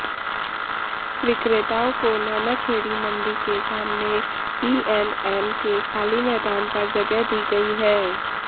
विक्रेताओं को नानाखेड़ी मंडी के सामने ईएंडएम के खाली मैदान पर जगह दी गई है